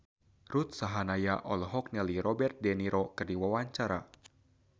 Ruth Sahanaya olohok ningali Robert de Niro keur diwawancara